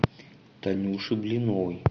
танюши блиновой